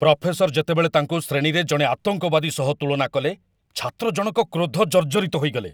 Professor ଯେତେବେଳେ ତାଙ୍କୁ ଶ୍ରେଣୀରେ ଜଣେ ଆତଙ୍କବାଦୀ ସହ ତୁଳନା କଲେ, ଛାତ୍ର ଜଣକ କ୍ରୋଧ ଜର୍ଜରିତ ହୋଇଥିଲେ।